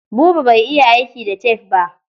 Buba bai iya aiki da tef ba.